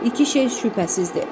İki şey şübhəsizdir.